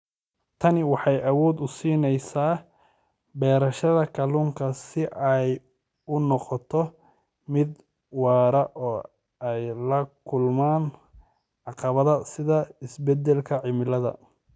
Tani waxay awood u siinaysaa beerashada kalluunka si ay u noqoto mid waara oo ay la kulmaan caqabadaha sida isbedelka cimilada.